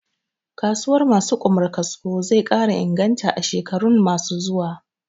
Kasuwar ma su Ƙumar kasko zai ƙara inganta a shekarun ma su zuwa